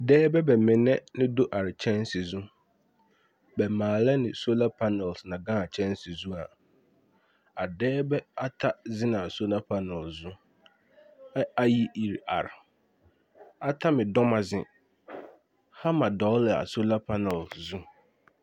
Dɛɛba ba mineŋ la do are kyanse zu. Ba maalɛ ne sola panel na gãã kyanse zua. A dɛɛba ata zeŋ na a sola panel zu, ɛ ayi iri ar, ata me dɔma zē, hama dɔɔla a sola panɛl zu.